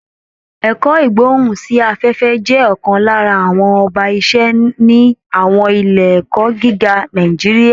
Ẹ̀kọ́ Ìgbóhùn sí afẹ́fẹ́ jẹ́ ọ̀kan lára àwọn ọba iṣẹ́ ni àwọn ilé ẹ̀kọ́ gíga Nàìjíríà